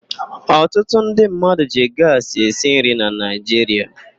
Ọtụtụ ndị mmadụ ji gaasị esi nri na Naịjiria.